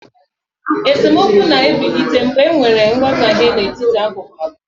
esemokwu na-ebilite mgbe enwere nghọtahie n'etiti akụkụ abụọ